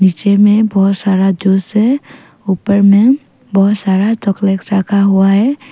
नीचे मे बहोत सारा जूस है ऊपर में बहोत सारा चॉकलेट रखा हुआ है।